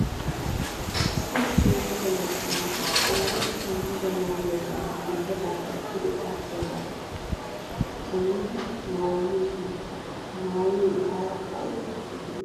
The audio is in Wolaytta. Issi issi yalaga macca naati ooratta yiida maayuwaa bantta gulbbataappe pude aadhdhiyaagaa shamidi maayiyoogee he maayoy etaara ayba pokkes giidetii?